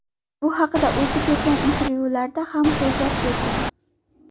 Bu haqida o‘zi bergan intervyularida ham so‘zlab bergan .